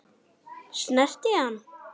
Snerti ég hann?